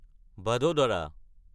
ভাদদাৰা